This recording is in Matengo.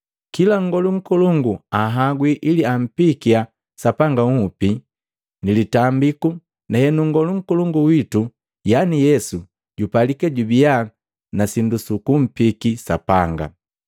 Kila Ngolu Nkolongu anhagwi ili ampiikia Sapanga nhupi ni litambiku, na henu Nngolu Nkolongu witu yani Yesu jupalika jubia na sindu sukumpiki Sapanga.